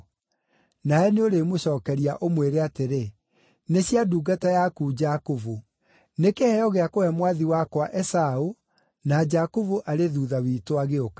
Nawe nĩũrĩmũcookeria ũmwĩre atĩrĩ, ‘Nĩ cia ndungata yaku Jakubu. Nĩ kĩheo gĩa kũhe mwathi wakwa Esaũ, na Jakubu arĩ thuutha witũ agĩũka.’ ”